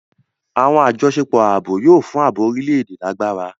Awọn ajọṣepọ ààbò yóò fún ààbò orílè-èdè lágbára.